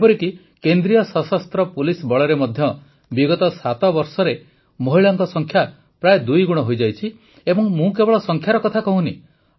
ଏପରିକି କେନ୍ଦ୍ରୀୟ ସଶସ୍ତ୍ର ପୁଲିସ ବଳରେ ମଧ୍ୟ ବିଗତ ସାତବର୍ଷରେ ମହିଳାଙ୍କ ସଂଖ୍ୟା ପ୍ରାୟ ଦୁଇଗୁଣ ହୋଇଯାଇଛି ଏବଂ ମୁଁ କେବଳ ସଂଖ୍ୟାର କଥା କହୁନାହିଁ